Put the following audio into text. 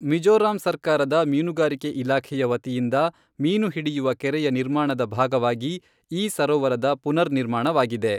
ಮಿಜೋರಾಂ ಸರ್ಕಾರದ ಮೀನುಗಾರಿಕೆ ಇಲಾಖೆಯ ವತಿಯಿಂದ ಮೀನುಹಿಡಿಯುವ ಕೆರೆಯ ನಿರ್ಮಾಣದ ಭಾಗವಾಗಿ ಈ ಸರೋವರದ ಪುನರ್ ನಿರ್ಮಾಣವಾಗಿದೆ.